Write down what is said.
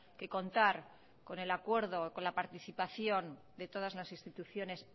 que contar con el acuerdo con la participación de todas lasinstituciones